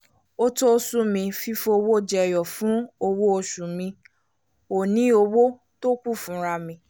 ó to sún mí fífowó jẹ̀yọ̀ fún owó oṣù mi ò ní owó tó kù fúnra mi